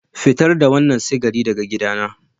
Fitar da wannan sigari daga gidana.